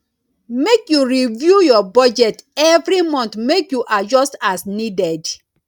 make you review your budget every month make you adjust as needed